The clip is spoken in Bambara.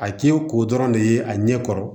A k'i ye ko dɔrɔn de ye a ɲɛ kɔrɔ